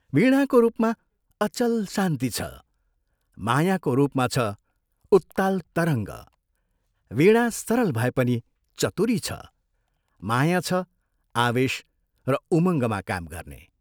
वीणाको रूपमा अचल शान्ति छ, मायाको रूपमा छ उत्ताल तरङ्ग, वीणा सरल भए पनि चतुरी छ, माया छ आवेश र उमंगमा काम गर्ने।